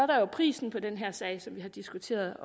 der prisen på den her sag som vi har diskuteret